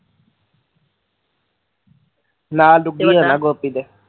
ਨਾਲ ਦੁੱਗੀ ਐ ਨਾ ਗੋਪੀ ਦੇ